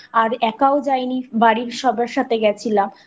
তো আর একাও যাই নি বাড়ির সবার সাথে গেছিলাম